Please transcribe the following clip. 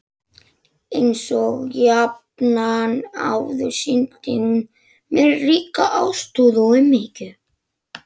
Einsog jafnan áður sýndi hún mér ríka ástúð og umhyggju.